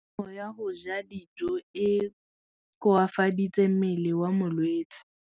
Kganô ya go ja dijo e koafaditse mmele wa molwetse.